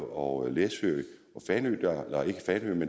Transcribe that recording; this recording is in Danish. og læsø